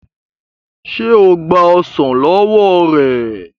ṣe o gba ọsán ló wọ rẹ?